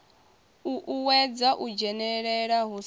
uuwedza u dzhenelela hu sa